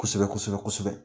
Kosɛbɛ kosɛbɛ kosɛbɛ.